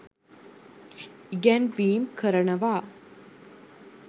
ඉගැන්වීම් කරනවා.